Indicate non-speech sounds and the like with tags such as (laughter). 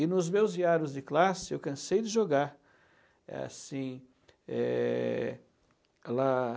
E nos meus diários de classe eu cansei de jogar, assim, é (unintelligible)